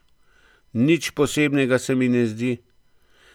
Nič posebnega se mi ne zdi.